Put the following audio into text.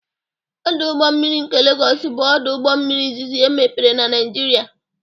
Ọdụ ụgbọ mmiri nke Legos bụ ọdụ ụgbọ mmiri izizi emepere na Naịjirịa.